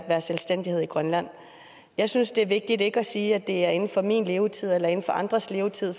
være selvstændighed i grønland jeg synes det er vigtigt ikke at sige at det er inden for min levetid eller inden for andres levetid